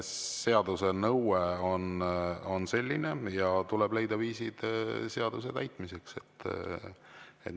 Seaduse nõue on selline ja tuleb leida viisid seaduse täitmiseks.